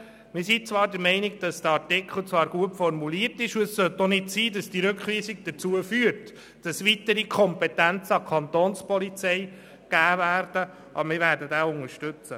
Wir sind zwar der Meinung, der Artikel sei gut formuliert, und die Rückweisung sollte auch nicht dazu führen, dass weitere Kompetenzen an die Kapo übertragen werden, aber wir werden ihn unterstützen.